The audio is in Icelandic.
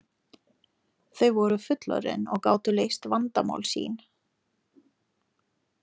Þau voru fullorðin og gátu leyst vandamál sín.